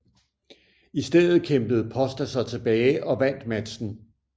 I stedet kæmpede Pósta sig tilbage og vandt matchen